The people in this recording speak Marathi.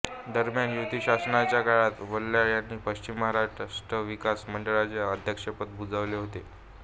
दरम्यान युती शासनाच्या काळात वल्याळ यांनी पश्चिम महाराष्ट्र विकास महामंडळाचे अध्यक्षपद भूषविले होते